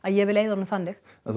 ég vill eyða honum þannig þú